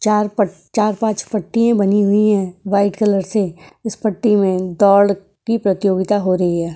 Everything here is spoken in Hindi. चार प चार पांच पट्टियां बनी हुई हैं वाइट कलर से। इस पट्टी में दौड़ की प्रतियोगिता हो रही है।